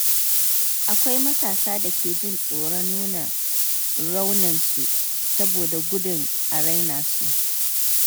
Akwai matasa da ke jin tsoron nuna rauninsu saboda gudun a raina su.